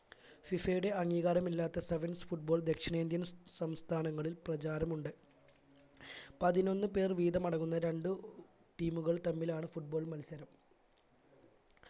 FIFA യുടെ അംഗീകരമില്ലാത്ത sevens football ദക്ഷിണേന്ത്യൻ സംസ്ഥാനങ്ങളിലും പ്രചാരമുണ്ട് പതിനൊന്ന് പേർ വിധം അടങ്ങുന്ന രണ്ടു team കൾ തമ്മിലാണ് football മത്സരം